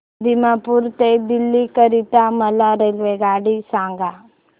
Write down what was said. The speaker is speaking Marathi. दिमापूर ते दिल्ली करीता मला रेल्वेगाडी सांगा